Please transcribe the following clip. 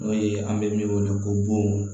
N'o ye an bɛ min wele ko bon